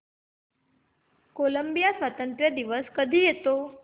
Colombia स्वातंत्र्य दिवस कधी येतो